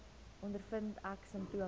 ondervind ek simptome